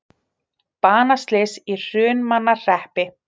Banaslys í Hrunamannahreppi